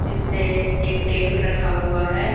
जिसपे एक टेबल रखा हुआ है।